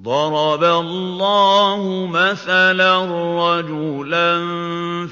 ضَرَبَ اللَّهُ مَثَلًا رَّجُلًا